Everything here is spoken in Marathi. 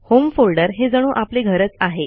होम फोल्डर हे जणू आपले घरच आहे